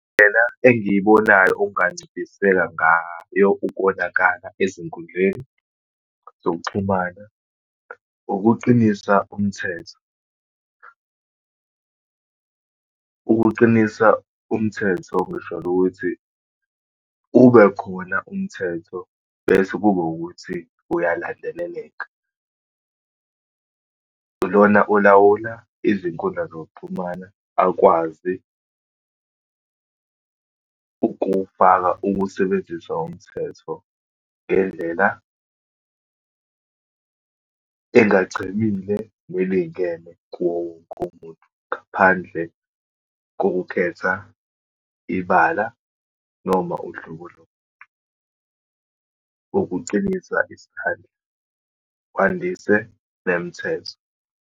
Indlela engiyibonayo okunganciphisa ngayo ukonakala ezinkundleni zokuxhumana, ukuqinisa umthetho. Ukuqinisa umthetho ngisholo ukuthi, ube khona umthetho, bese kube ukuthi uyalandeleleka. Lona olawula izinkundla zokuxhumana, akwazi ukuwufaka, ukuwusebenzisa umthetho ngendlela engachebile, nelingene kuwowonke umuntu, ngaphandle kokukhetha ibala noma uhlobo lomuntu. Ukucinisa isandla, kwandise nemithetho.